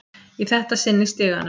Í þetta sinn í stiganum.